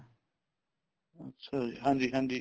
ਅੱਛਾ ਜੀ ਹਾਂਜੀ ਹਾਂਜੀ